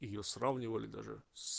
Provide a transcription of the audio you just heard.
её сравнивали даже с